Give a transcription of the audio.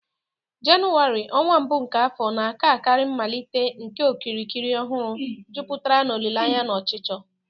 Jenụwarị, ọnwa mbụ nke afọ, na-aka akara mmalite nke okirikiri ọhụrụ, jupụtara n'olileanya na ọchịchọ